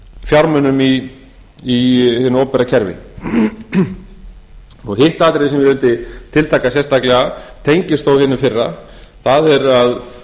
fjármunum í hinu opinbera kerfi hitt atriðið sem ég vildi tiltaka sérstaklega tengist þá vinnu þeirra það er að